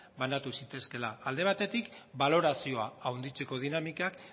banatu zitezkeela alde batetik balorazioa handitzeko dinamikak